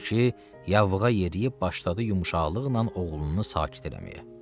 Odur ki, yavuğa yeriyib başladı yumşaqlıqla oğlunu sakit eləməyə.